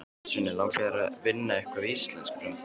Sunna: Langar þig að vinna eitthvað við íslensku í framtíðinni?